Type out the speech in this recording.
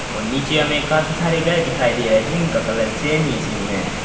नीचे हमें काफी सारे घर दिखाई दे रहा है जिनका कलर सेम ही सेम --